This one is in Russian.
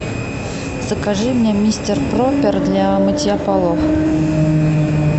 закажи мне мистер пропер для мытья полов